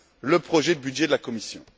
le projet de budget de la Commission.